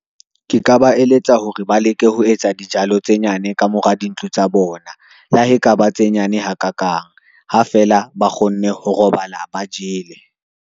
Ke ka ba eletsa hore ba leke ho etsa dijalo tse nyane ka mora dintlo tsa bona, le ha ekaba tse nyane ha ka kang, ha fela ba kgonne ho robala, ba jele